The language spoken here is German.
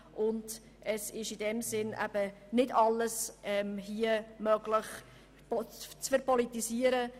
In diesem Sinne soll hier auch nicht alles Mögliche verpolitisiert werden.